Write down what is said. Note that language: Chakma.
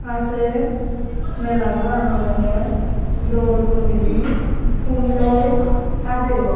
ahaa say mela goran olodey dol goriney pulloi sajayoun.